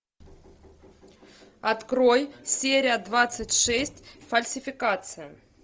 открой серия двадцать шесть фальсификация